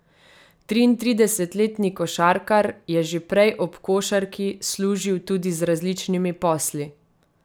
Triintridesetletni košarkar je že prej ob košarki služil tudi z različnimi posli.